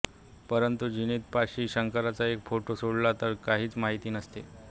परंतु झीनत पाशी शंकरचा एक फोटो सोडला तर काहीच माहिती नसते